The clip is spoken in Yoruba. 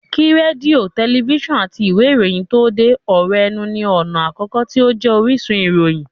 Kí rédíò, tẹlifísàn àti ìwé ìròyìn tó dé, ọ̀rọ̀ ẹnu ní ọ̀nà àkọ́kọ́ tí ó jẹ́ orísun ìròyìn